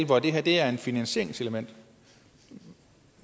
hvor det her er er et finansieringselement